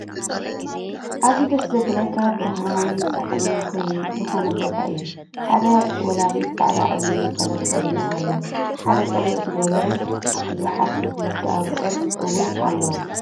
ኣዝዩ ደስ ዝብለካ ብርሃናዊ ስሓብን ዝኮነ ቦታ እዩ። ሓደ ወላዲ ፃዕዳ ዓብይ ነፀላ ተከዲኖም ኣለው። ሓደ ቆቢዕ ዝገበሩን ዝሓርሱ ክልተ ኣብዑር እውን ኣለው።